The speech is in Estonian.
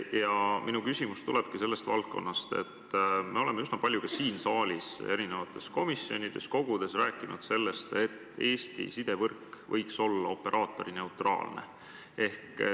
Ja minu küsimus tulebki sellest valdkonnast, et me oleme üsna palju siin saalis, erinevates komisjonides, kogudes rääkinud sellest, et Eesti sidevõrk võiks olla operaatorineutraalne.